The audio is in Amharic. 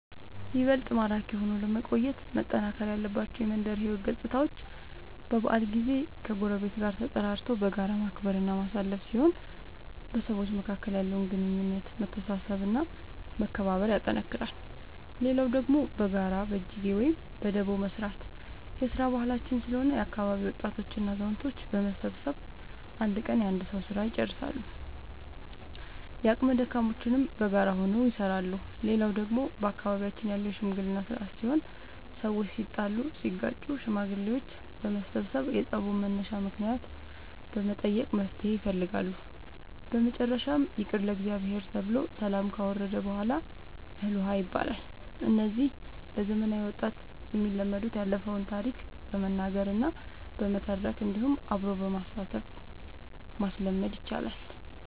ይበልጥ ማራኪ ሆኖ ለመቆየት መጠናከር ያለባቸው የመንደር ሕይወት ገፅታዎች በበዓል ጊዜ ከጎረቤት ጋር ተጠራርቶ በጋራ ማክበር እና ማሳለፍ ሲሆን በሰዎች መካከል ያለውን ግንኙነት መተሳሰብ እና መከባበር ያጠነክራል። ሌላው ደግሞ በጋራ በጅጌ ወይም በዳቦ መስራት የስራ ባህላችን ስለሆነ የአካባቢ ወጣቶች እና አዛውቶች በመሰብሰብ አንድ ቀን የአንድ ሰዉ ስራ ልጨርሳሉ። የአቅመ ደካሞችንም በጋራ ሆነው ይሰራሉ። ሌላው ደግሞ በአካባቢያችን ያለው የሽምግልና ስርአት ሲሆን ሰዎች ሲጣሉ ሲጋጩ ሽማግሌዎች በመሰብሰብ የፀቡን መነሻ ምክንያት በመጠየቅ መፍትሔ ይፈልጋሉ። በመጨረሻም ይቅር ለእግዚአብሔር ተብሎ ሰላም ከወረደ በሗላ እህል ውሃ ይባላል። እነዚህ ለዘመናዊ ወጣት የሚለመዱት ያለፈውን ታሪክ በመናገር እና በመተረክ እንዲሁም አብሮ በማሳተፍ ማስለመድ ይቻላል።